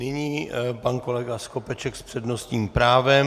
Nyní pan kolega Skopeček s přednostním právem.